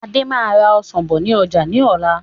Adé máa ra Ọsàn bọ̀ ni ọjà ni ọ̀la.